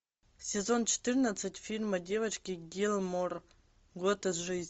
сезон четырнадцать фильма девочки гилмор год из жизни